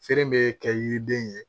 Feere bɛ kɛ yiriden ye